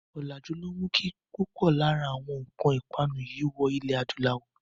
Ọ̀làjú ló mú kí púpò lára àwọn nǹkan ìpanu yìí wọ ilẹ̀ adúláwọ̀.